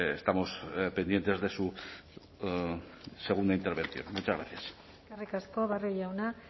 estamos pendientes de su segunda intervención muchas gracias eskerrik asko barrio jauna